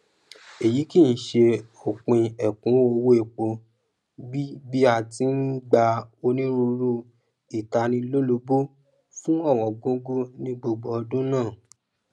èyí kìí ṣe òpin èkúnwó owó epo bí bí a ti n gba onírúurú ìtanilólobó fún òwóngógó ní gbogbo ọdún náà